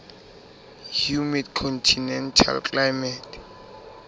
humid continental climate